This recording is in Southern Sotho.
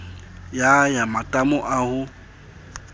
ya ya matamo a ho